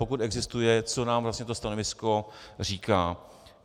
Pokud existuje, co nám vlastně to stanovisko říká.